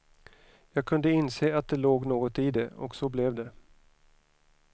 Jag kunde inse att det låg något i det, och så blev det.